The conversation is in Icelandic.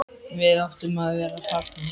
Við áttum að vera farnir.